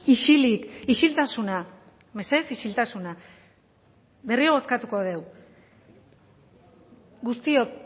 isilik isiltasuna mesedez isiltasuna berriro bozkatuko dugu guztiok